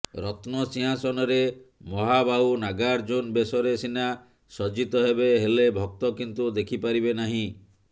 ରତ୍ନ ସିଂହାସନରେ ମହାବାହୁ ନାଗାର୍ଜୁନ ବେଶରେ ସିନା ସଜ୍ଜିତ ହେବେ ହେଲେ ଭକ୍ତ କିନ୍ତୁ ଦେଖିପାରିବେ ନାହିଁ